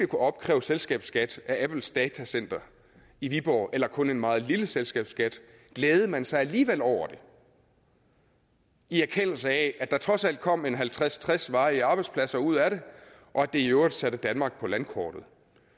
kunne opkræve selskabsskat af apples datacenter i viborg eller kun en meget lille selskabsskat glædede man sig alligevel over det i erkendelse af at der trods alt kom halvtreds til tres varige arbejdspladser ud af det og at det i øvrigt satte danmark på landkortet